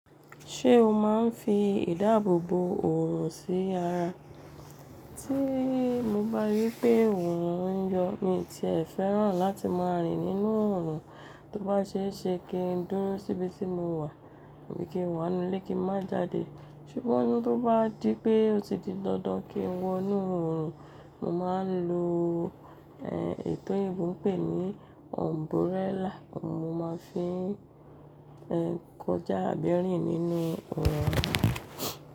Ṣé o máa ń fi ìdáàbòbo òrùn sí ara? Tí mo bá rí pé òrùn ń yọ mí tí ẹ fẹ́ràn láti máa rìn nínú òrùn, tó bá ṣe é ṣe kí n dúró síbi tí mo wà, bí kí n wà nínú ilé kí n má jáde. Ṣùgbọ́n ní tó bá di pé ó ti di dandan kí n wọ inú òrùn, mo máa ń lo, ehn, ètò ìbùn pè ní umbrella, mo máa ń fi, eh, kọjá àbí rìn nínú òorùn.